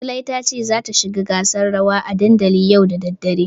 Zulai tace zata shiga gasar rawa a dandali yau da daddare.